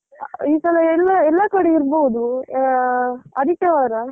ಹ ಈ ಸಲ ಎಲ್ಲಾ, ಎಲ್ಲಾ ಕಡೆ ಇರ್ಬೋದು. ಅಹ್ ಆದಿತ್ಯವಾರ.